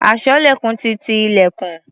Aṣọ́lẹ̀kùn ti ti ilẹ̀kùn.